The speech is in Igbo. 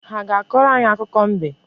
Ha ga-akọrọ anyị akụkọ mbe?